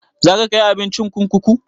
Za ka kai abincin kurkuku?